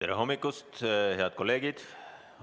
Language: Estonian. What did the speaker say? Tere hommikust, head kolleegid!